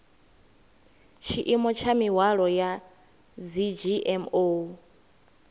tshiimo tsha mihwalo ya dzgmo